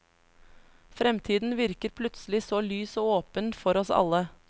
Fremtiden virker plutselig så lys og åpen for oss alle.